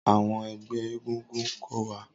Awọn ẹgbẹ egungun ko wa.